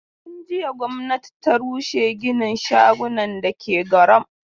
Tun jiya gwamnati ta rushe ginin shagunan da ke Gwaram.